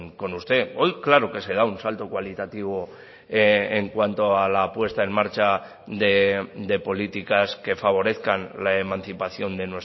con usted hoy claro que se da un salto cualitativo en cuanto a la puesta en marcha de políticas que favorezcan la emancipación de